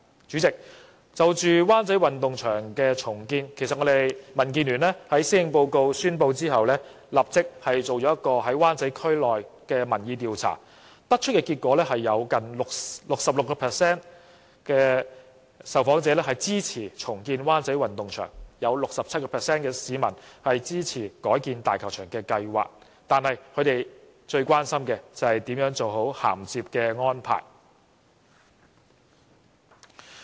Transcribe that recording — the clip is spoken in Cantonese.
主席，就灣仔運動場的重建計劃，民建聯在施政報告發表後立即在灣仔區進行了民意調查，得出的結果是有近 66% 受訪者支持重建灣仔運動場，亦有 67% 市民支持改建大球場，但他們最關心的就是怎樣做好銜接安排。